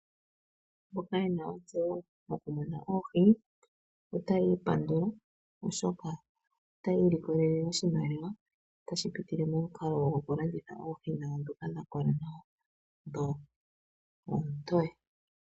Mboka yena ontseyo yokumuna oohi otaya ipandula oshoka otaya ilikolele oshimaliwa tashi pitile momikalo gokulanditha oohi dhawo ndhoka dha kola dho oontoye.